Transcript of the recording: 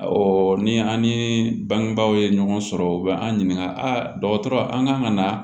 ni an ni bangebaaw ye ɲɔgɔn sɔrɔ u bɛ an ɲininka a dɔgɔtɔrɔ an kan ka na